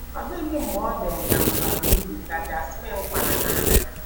“Ọ dịghị mgbe ọ dị m ka m bara uru, ” ka Jasmine kwara n’arịrị.